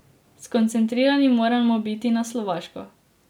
Skoncentrirani moramo biti na Slovaško.